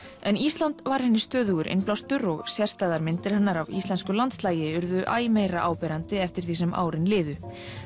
en Ísland var henni stöðugur innblástur og sést það á að myndir hennar af íslensku landslagi urðu æ meira áberandi eftir því sem árin liðu